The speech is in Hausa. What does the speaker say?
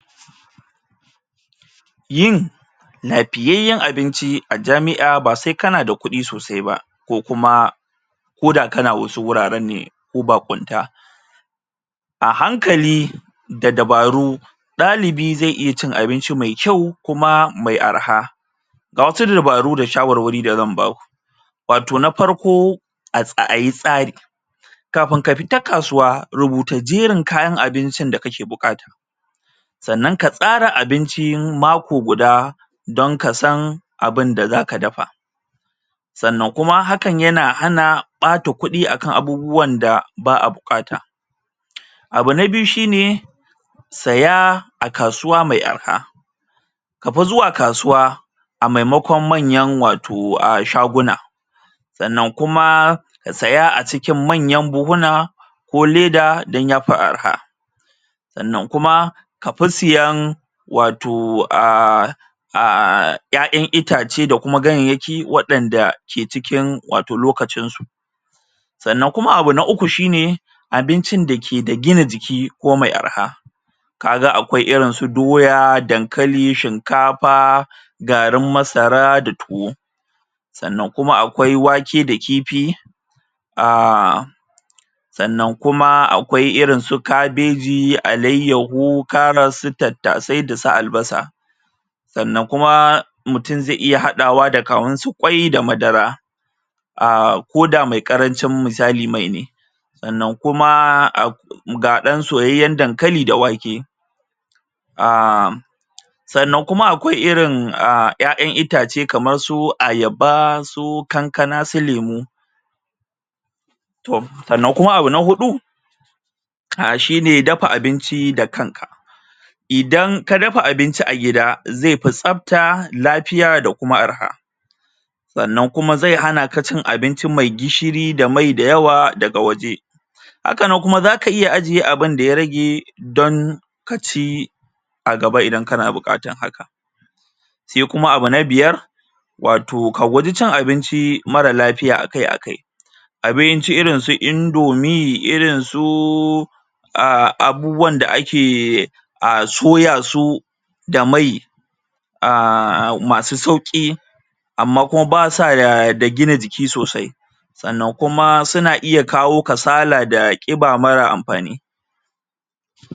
Yin abinci a jami'a ba sai kana da kudi sosai ba ko kuma ko da kana wasu wuraren ne ko baƙunta a hankali da dabaru ɗalibi zai iya cin abinci mai kyau kuma mai arha ga wasu dabaru da wasu shawarwari da zan ba ku wato na farko a ayi tsari kafin ka fita kasuwa rubuta jerin kayan abincin da kake buƙata sannan ka tsara abincin mako guda don ka san abin da za ka dafa sannan kuma hakan yana hana ɓata kuɗi akan abubuwan da ba a buƙata abu na biyu shine saya a kasuwa mai arha kabi zuwa kasuwa a maimakon manyan wato shaguna sannan kuma ka saya a cikin manyan buhuna ko leda don ya fi arha sannan kuma a fi siyan wato a um ƴaƴan itace da kuma ganyenyaki waɗanda ke cikin wato lokacin su sannan kuma abu na uku shine abincin da ke da gina jiki ko mai arha ka ga akwai irin su doya, dankali, shinkafa garin masara da tuwo sannan kuma akwai wake da kifi um sannan kuma akwia irin su kabeji, alayyahu, karas su tattasai da su albasa sannan kuma mutum zai iya haɗawa da kaman su kwai da madara a ko da mai karancin misali mai ne sannan kuma ak ga ɗan soyayyen dankali da wake um sannan kuma akwai irin ƴaƴan itace kamar irin su ayaba su kankana su lemu sannan kuma abu na huɗu ka shine dafa abinci da kanka idan ka dafa abinci a gida zai fi tsabta, lafiya da kuma arha sannan kuma zai hana ka cin abinci mai yawa daga waje hakana kuma za ka iya ajiye abin da ya rage don ka ci a gaba idan kana bukatar haka sai kuma abu na biyar wato ka guji cin abinci mara afiya akai-akai abinci irin su indomie, irin su a abubuwan da ake a soya su da mai a masu sauƙi amma kuma ba sa da gina jiki sosai sannan kuma suna iya kawo kasala da ƙiba mara amfani